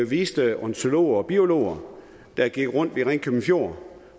viste ornitologer og biologer der gik rundt ved ringkøbing fjord